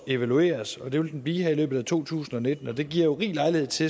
evalueres og det vil den blive her i løbet af to tusind og nitten det giver jo rig lejlighed til